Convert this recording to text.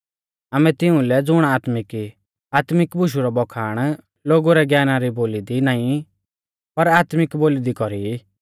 आमै तिऊं लै ज़ुण आत्मिक ई आत्मिक बुशु रौ बखाण लोगु रै ज्ञाना री बोली दी नाईं पर आत्मिक बोली दी कौरी ई